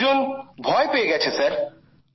লোকজন ভয় পেয়ে গেছে স্যার